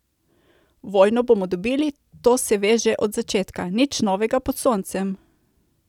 Vojno bomo dobili, to se ve že od začetka, nič novega pod soncem!